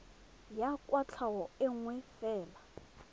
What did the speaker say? ya kwatlhao e nngwe fela